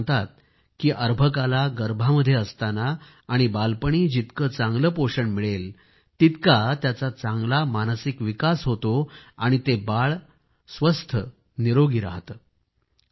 तज्ज्ञ सांगतात की अर्भकाला गर्भामध्ये असताना आणि बालपणी जितके चांगले पोषण मिळेल तितका त्याचा चांगला मानसिक विकास होतो आणि ते बाळ स्वस्थ राहते